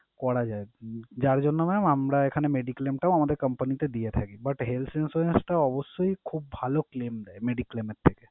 করা যায় আরকি। যার জন্য mam আমরা এখানে mediclaim টাও আমদের company তে দিয়ে থাকি but health insurance টা অবশ্যই খুব ভালো claim দেয় mediclaim এর থেকে।